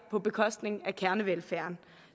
på bekostning af kernevelfærd